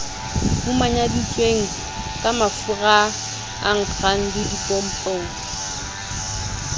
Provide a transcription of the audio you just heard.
manyaditsweng ka mafuraa nkgang dipompong